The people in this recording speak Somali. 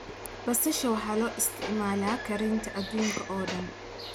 Basasha waxaa loo isticmaalaa karinta adduunka oo dhan.